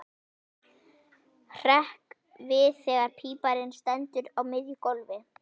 Hrekk við þegar píparinn stendur á miðju gólfi.